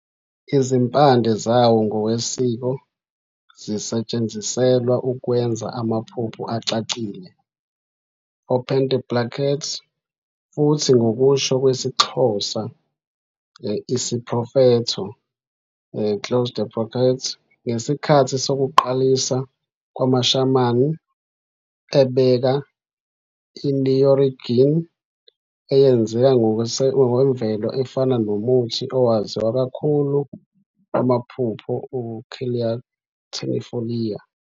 Izimpande zawo ngokwesiko zisetshenziselwa ukwenza amaphupho acacile, open the brackets, futhi ngokusho kwesiXhosa, isiprofetho, close the brackets, ngesikhathi sokuqalisa kwamaShaman, ebeka i-oneirogen eyenzeka ngokwemvelo efana nomuthi owaziwa kakhulu wamaphupho "u-Calea ternifolia".